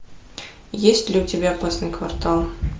есть ли у тебя опасный квартал